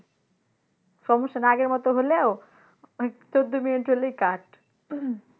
সমস্যা নাই আগের মতো হলেও ওই চোদ্দ মিনিট হলেই cut